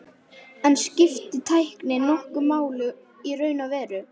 En skiptir tæknin nokkru máli í raun og veru?